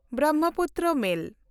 ᱵᱨᱚᱢᱢᱚᱯᱩᱛᱨᱚ ᱢᱮᱞ